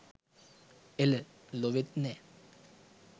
එල! ලොවෙත් නෑ